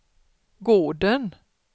gården